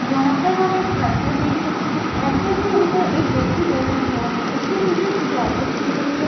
यहाँ पर हम एक ट्रैक्टर देख सकते है। ट्रैक्टर के ऊपर एक व्यक्ति बैठा हुआ है। उसके पीछे सजावट की गई है।